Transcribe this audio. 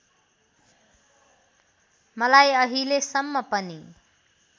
मलाई अहिलेसम्म पनि